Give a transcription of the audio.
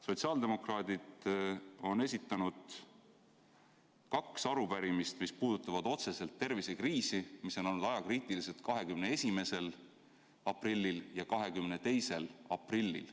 Sotsiaaldemokraadid on esitanud kaks arupärimist, mis puudutavad otseselt tervisekriisi ja mis on olnud ajakriitilised, 21. aprillil ja 22. aprillil.